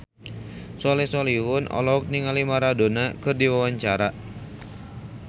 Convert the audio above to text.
Soleh Solihun olohok ningali Maradona keur diwawancara